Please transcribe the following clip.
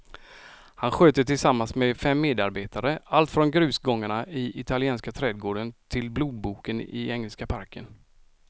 Han sköter tillsammans med fem medarbetare allt från grusgångarna i italienska trädgården till blodboken i engelska parken.